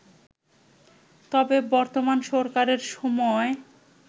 তবে বর্তমান সরকারের সময়